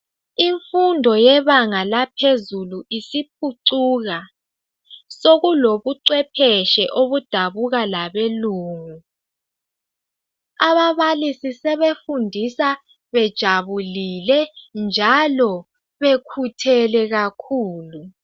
Imfundo yebanga laphezulu isiphucuka sokulobcwephetshi obudabuka labelungu ababalisi sebefundisa bejabulile njalo bekhuthele kakhulu